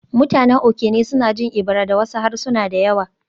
Mutanen Okene suna jin Ebira da wasu harsuna da yawa